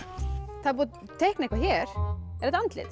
það er búið að teikna eitthvað hér er þetta andlit